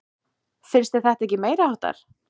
Finnst þér þetta ekki meiriháttar?